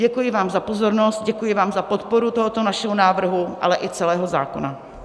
Děkuji vám za pozornost, děkuji vám za podporu tohoto našeho návrhu, ale i celého zákona.